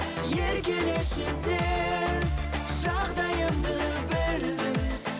еркелеші сен жағдайымды білдің